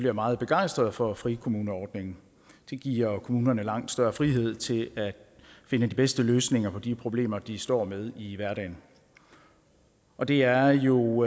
er meget begejstrede for frikommuneordningen den giver kommunerne langt større frihed til at finde de bedste løsninger på de problemer de står med i hverdagen og det er jo